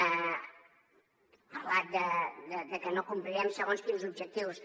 ha parlat de que no complirem segons quins objectius